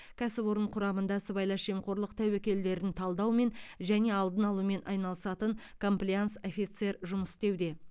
кәсіпорын құрамында сыбайлас жемқорлық тәуекелдерін талдаумен және алдын алумен айналысатын комплаенс офицер жұмыс істеуде